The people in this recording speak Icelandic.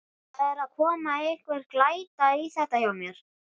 Það er að koma einhver glæta í þetta hjá mér.